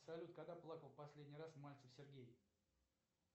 салют когда плакал последний раз мальцев сергей